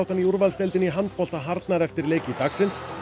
í úrvalsdeildinni í handbolta harðnar eftir leiki dagsins en